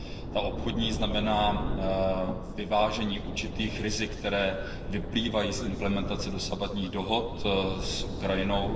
Ta obchodní znamená vyvážení určitých rizik, která vyplývají z implementace dosavadních dohod s Ukrajinou.